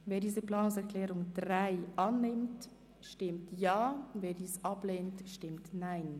Wer diese Planungserklärung 3 und die Ziffer 2 der Motion Jost annimmt, stimmt Ja, wer dies ablehnt, stimmt Nein.